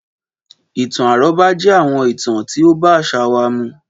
Ìtàn àrọ́bá jẹ́ àwọn ìtàn tí ó bá àṣà wa mu.